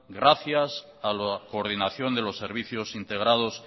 gracias a la coordinación de los servicios integrados